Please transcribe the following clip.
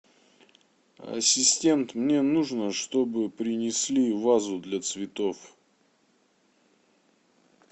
ассистент мне нужно чтобы принесли вазу для цветов